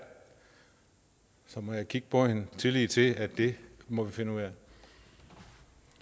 så må jeg kigge på hende tillid til at det må vi finde ud